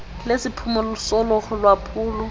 lesiphumo solo lwaphulo